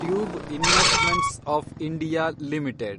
tube Investments of India limited